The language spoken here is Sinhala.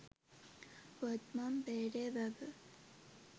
වත්මන් බේරේ වැව